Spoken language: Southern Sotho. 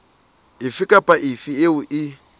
efe kapa efe eo e